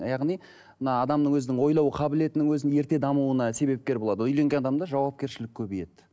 яғни мына адамның өзінің ойлау қабілетінің өзін ертең дамуына себепкер болады үйленген адамда жауапкершілік көбейеді